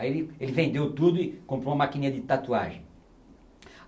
Aí ele ele vendeu tudo e comprou uma maquininha de tatuagem.